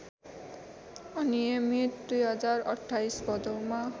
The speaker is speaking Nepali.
अनियमित २०२८ भदौमा